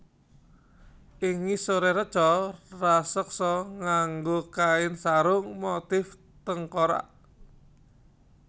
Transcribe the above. Ing ngisoré reca raseksa nganggo kain sarung motif tengkorak